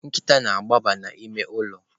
Nkịta na-agbaba n'ime ụlọ.